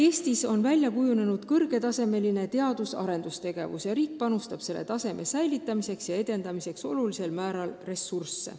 Eestis on välja kujunenud kõrgel tasemel teadus- ja arendustegevus ja riik panustab selle taseme hoidmiseks ja tõstmiseks suurel määral ressursse.